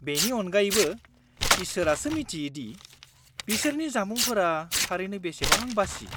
-बेनि अनगायैबो, इसोरासो मिन्थियो दि बिसोरनि जामुंफोरा थारैनो बेसेबां बासि।